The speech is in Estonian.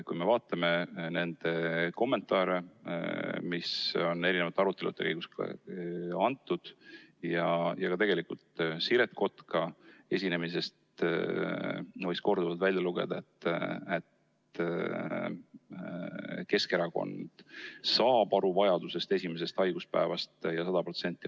Kui me otsustame nende kommentaaride järgi, mis on eri arutelude käigus antud, ja tegelikult ka Siret Kotka esinemisest võis korduvalt välja lugeda, et Keskerakond saab aru vajadusest maksta hüvitist esimesest haiguspäevast ja 100%.